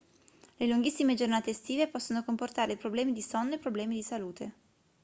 le lunghissime giornate estive possono comportare problemi di sonno e problemi di salute